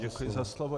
Děkuji za slovo.